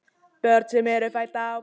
Börn sem fædd eru á